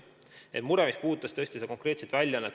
Teie mureküsimus puudutas üht konkreetset väljaannet.